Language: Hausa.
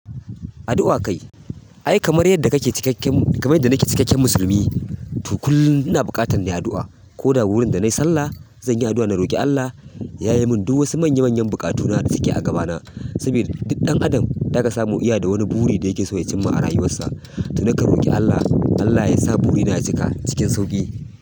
Addu'a kai. Ai kamar yadda kake cikakken kamar yadda nike cikakken musulmi to kullum ina buƙatar nayi addu'a. Ko da wurin da nayi sallah zanyi addu'a na roƙi Allah ya yayemun duk wasu manya manyan bukatuna da suke a gabana. Saboda duk ɗan adam zaga samu iya da wani buri da yakeso ya cimma a rayuwarsa. To nakan roƙi Allah, Allah yasa burina ya cika cikin sauƙi.